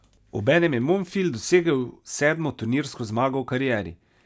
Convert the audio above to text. Obenem je Monfils dosegel sedmo turnirsko zmago v karieri.